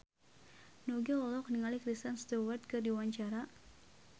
Nugie olohok ningali Kristen Stewart keur diwawancara